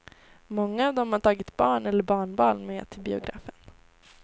Många av dem hade tagit barn eller barnbarn med till biografen.